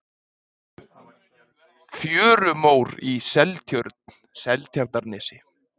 Fjörumór í Seltjörn, Seltjarnarnesi.